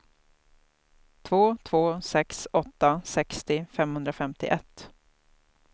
två två sex åtta sextio femhundrafemtioett